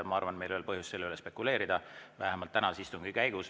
Ma arvan, et meil ei ole põhjust selle üle spekuleerida, vähemalt tänase istungi käigus.